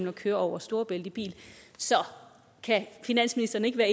at køre over storebælt i bil så kan finansministeren ikke være